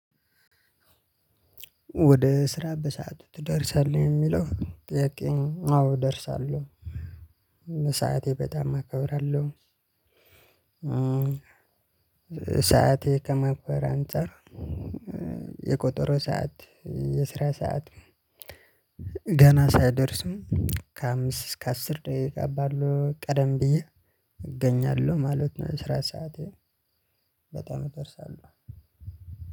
ወደ ስራ በሰአቱ ትደርሳለህ የሚለው ጥያቄ አዎ እደርሳለሁ ሰዓቴ በጣም አከብራለሁ። ሰዓቴ ከማክበር አንፃር የቆጦሮ ሰዓት የስራ ሰዓት ሳይደርስም ከአምስት እስከ አስር ደቂቃ ባለው ቀደም ብዬ እገኛለሁ ማለት ነው። የስራ ሰዓቴ። በጣም እደርሳለሁ።